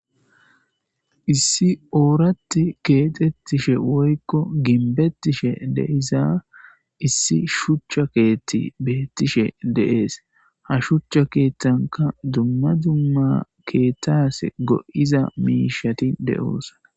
issi ooratti keexettishe woykko ginbettishe deiza issi shuchcha keethti beettishe deees ha shuchcha keettanka dumma dumma keettas go7iza miishati de7oosa